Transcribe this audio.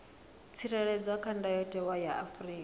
tsireledzwa kha ndayotewa ya afrika